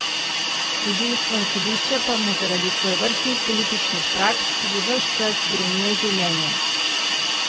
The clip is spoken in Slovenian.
Tožilstvo in sodišča pa mu zaradi svojevrstnih političnih praks že ves čas grenijo življenje.